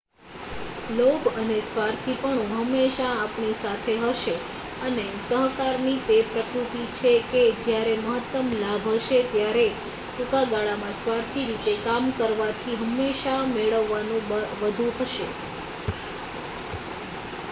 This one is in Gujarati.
લોભ અને સ્વાર્થીપણું હંમેશા આપણી સાથે હશે અને સહકારની તે પ્રકૃત્તિ છે કે જ્યારે મહત્તમ લાભ હશે ત્યારે ટૂંકા ગાળામાં સ્વાર્થી રીતે કામ કરવાથી હંમેશા મેળવવાનું વધુ હશે